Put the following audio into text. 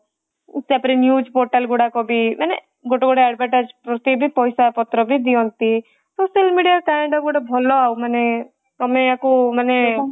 ତାପରେ news portal ଗୁଡାକ ବି ମାନେ ଗୋଟେ ଗୋଟେ advertise ପ୍ରତି ବି ପଇସା ପତ୍ର ବି ଦିଅନ୍ତି social media ର ଭଲ ଆଉ ମାନେ ତମେ ୟାକୁ ମାନେ